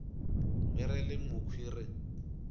ge re le mokhwi re